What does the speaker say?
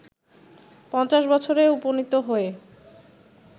৫০ বছরে উপনীত হয়ে